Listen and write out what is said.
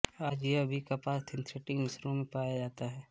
आज यह भी कपास सिंथेटिक मिश्रणों में पाया जाता है